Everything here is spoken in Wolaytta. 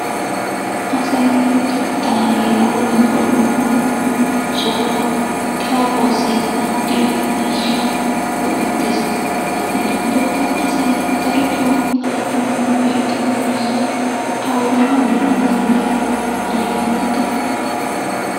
Asay luxettaa heeran woyikko dumma dumma sohuwan xaafuwaassi maaddiya miishshaa go"ettes. Hagetuppekka asay darotoo xaafanawu go"ettiyoo miishshay awugaa gidana danddayi? Ane yootite.